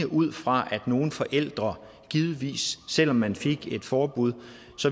ud fra det at nogle forældre givetvis selv om man fik et forbud